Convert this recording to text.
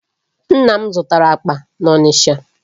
Nna m zụtara akpa n'Ọnịcha.